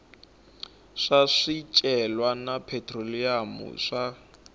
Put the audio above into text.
swa swicelwa na phetroliyamu swa